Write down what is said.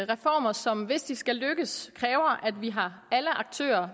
reformer som hvis de skal lykkes kræver at vi har alle aktører